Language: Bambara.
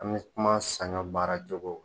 An bɛ kuma sanyɔn baara joko.